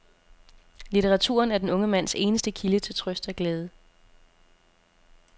Litteraturen er den unge mands eneste kilde til trøst og glæde.